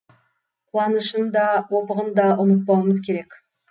қуанышын да опығын да ұмытпауымыз керек